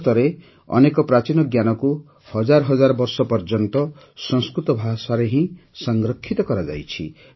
ଭାରତରେ ଅନେକ ପ୍ରାଚୀନ ଜ୍ଞାନକୁ ହଜାର ହଜାର ବର୍ଷ ପର୍ଯ୍ୟନ୍ତ ସଂସ୍କୃତ ଭାଷାରେ ହିଁ ସଂରକ୍ଷିତ କରାଯାଇଛି